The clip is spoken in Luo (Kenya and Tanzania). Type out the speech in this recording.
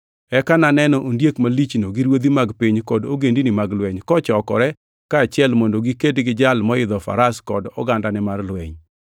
Eka naneno ondiek malichno gi ruodhi mag piny kod ogendinigi mag lweny kochokore kaachiel mondo giked gi Jal moidho faras kod ogandane mar lweny.